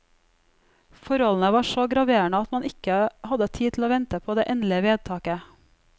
Forholdene var så graverende at man ikke hadde tid til å vente på det endelige vedtaket.